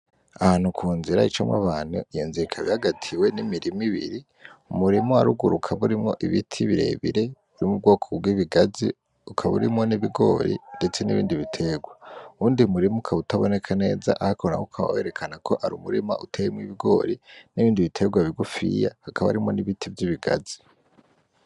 Ahantu kunzira icamwo abantu yazengagatiwe n’imirima ibiri, umurima waruguru ukaba urimwo ibiti birebire yubwoko bw’ibigazi, ukaba urimwo ibigori ndetse n'ibindi biterwa. Uwundi murima ukaba utaboneka neza ariko ukaba werekana ko ari umurima uteyemwo ibigori n'ibindi biterwa bigufiya hakaba harimwo n’ibiti vyibigazi.